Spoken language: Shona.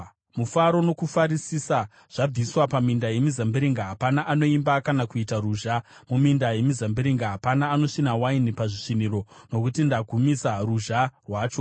Mufaro nokufarisisa zvabviswa paminda yemizambiringa; hapana anoimba kana kuita ruzha muminda yemizambiringa; hapana anosvina waini pazvisviniro, nokuti ndagumisa ruzha rwacho.